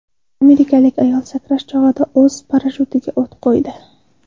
Amerikalik ayol sakrash chog‘ida o‘z parashyutiga o‘t qo‘ydi .